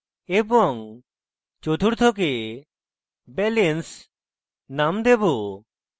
এবং চতুর্থকে balance নাম দেবো